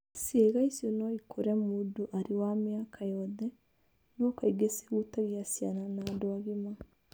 Ciĩga icio no ikũre mũndũ arĩ wa mĩaka yothe, no kaingĩ cihutagia ciana na andũ agima.